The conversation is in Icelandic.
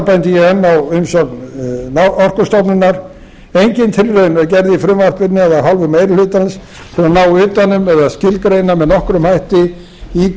bendi ég enn á umsögn orkustofnunar engin tilraun er gerð í frumvarpinu eða af hálfu meiri hlutans til þess að ná utan um eða skilgreina með nokkrum hætti í